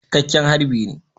Cikakken harbi ne